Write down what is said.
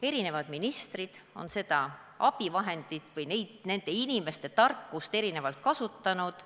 Eri ministrid on seda abivahendit või nende inimeste tarkust erinevalt kasutanud.